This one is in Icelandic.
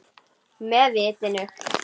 Með vitinu.